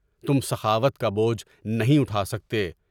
تم سخاوت کا بوجھ نہیں اٹھا سکتے۔